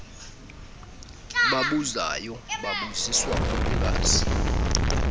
babuzayo babuziswa kukungazi